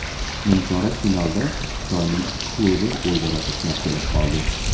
Nimchorak finalda Xitoyning ikki klubi o‘zaro to‘qnash kelib qoldi.